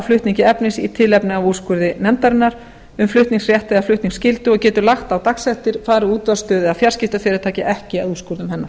flutningi efnis í tilefni af úrskurði nefndarinnar um flutningsrétt eða flutningsskyldu og getur lagt á dagsektir fari útvarpsstöð eða fjarskiptafyrirtæki ekki að úrskurðum hennar